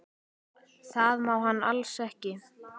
Það má hann alls ekki.